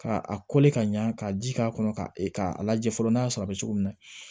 Ka a ka ɲɛ ka ji k'a kɔnɔ ka a lajɛ fɔlɔ n'a y'a sɔrɔ a bɛ cogo min na